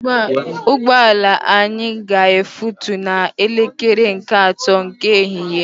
Ụgbọala anya ga efutu na elekere nke ato nke ehihie